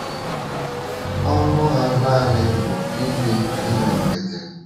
Ọṅụ ha nanị bụ ibi ndụ nkịtị.